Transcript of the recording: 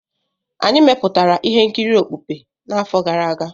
Anyị mepụtara ihe nkiri okpukpe n'afọ gara aga.